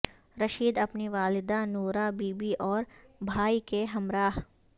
رشید اپنی والدہ نوراں بی بی اور بھائی کے ہمراہ